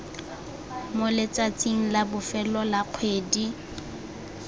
moletsatsing la bofelo la kgwedi